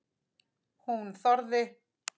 Hún þorði.